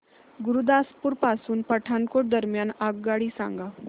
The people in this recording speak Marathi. गुरुदासपुर पासून पठाणकोट दरम्यान आगगाडी सांगा